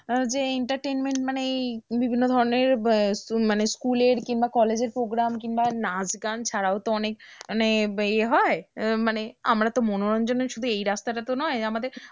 যে entertainment মানে এই বিভিন্ন ধরনের আহ মানে school এর কিংবা college এর programme কিংবা নাচ গান ছাড়াও তো অনেক মানে এ হয় আহ মানে আমরা তো মনোরঞ্জনের শুধু এই রাস্তাটা তো নয় আমাদের,